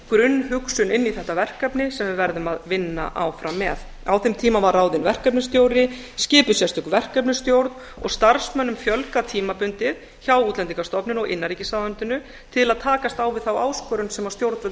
grunnhugsun inn í þetta verkefni sem við verðum að vinna áfram með á þeim tíma var ráðinn verkefnisstjóri skipuð sérstök verkefnisstjórn og starfsmönnum fjölgað tímabundið hjá útlendingastofnun og innanríkisráðuneytinu til að takast á við þá áskorun sem stjórnvöld